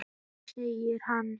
Nei segir hann.